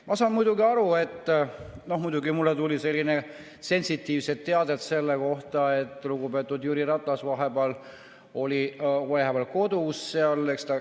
Ma saan muidugi aru, nimelt tuli mulle sellist sensitiivset teavet, et lugupeetud Jüri Ratas oli vahepeal kodus.